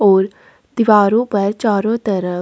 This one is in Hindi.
और दिवारो पर चारो तरफ--